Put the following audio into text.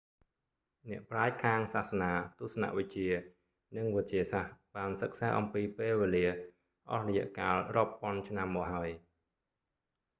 អ្នកប្រាជ្ញខាងសាសនា ទស្សនវិជ្ជា និងវិទ្យាសាស្ត្របានសិក្សាអំពីពេលវេលាអស់រយៈកាលរាប់ពាន់ឆ្នាំមកហើយ